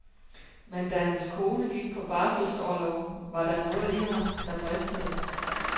Men da hans kone gik på barselsorlov, var der noget i ham, der bristede.